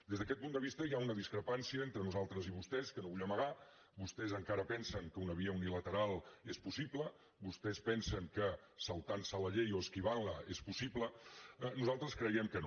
des d’aquest punt de vista hi ha una discrepància entre nosaltres i vostès que no vull amagar vostès encara pensen que una via unilateral és possible vostès pensen que saltant se la llei o esquivant la és possible nosaltres creiem que no